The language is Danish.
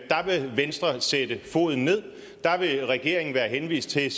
dér vil venstre sætte foden ned og dér vil regeringen være henvist til